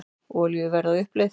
Olíuverð á uppleið